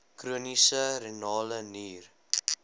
chroniese renale nier